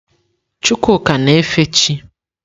Chukwuka na-efe chị́.